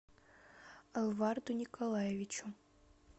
алварду николаевичу